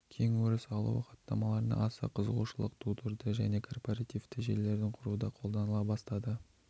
кең өріс алуы хаттамаларына аса қызығушылық тудырды және корпоративті желілерді құруда қолданыла бастады